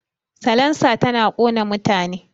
Salansa tana ƙona mutane